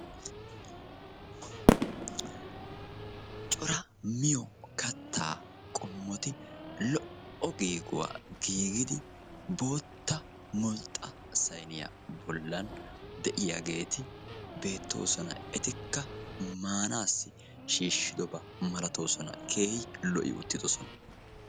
Cora miyyo katta qommoti lo''o giiguwaa giigidi bootta mulxxa saynniyaa bollan de'iyaageeti beettoosona, etikka maanassi shiishshidoba malatoosona, keehi lo''i uttidoosona.